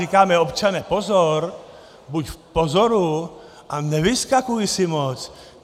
Říkáme: "Občane, pozor, buď v pozoru a nevyskakuj si moc.